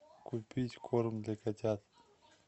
купить корм для котят